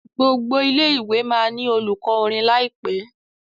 gbogbo ilé ìwé má ní olùkó orin láìpé